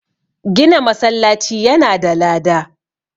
Gina masallaci yana da lada